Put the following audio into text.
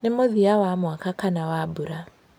Nĩ mũthia wa mwaka kana wa mbura.